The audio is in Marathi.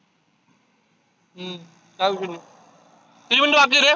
हम्म चालत किती minute बाकी आहे रे?